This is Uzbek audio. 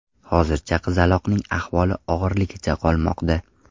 Hozircha qizaloqning ahvoli og‘irligicha qolmoqda.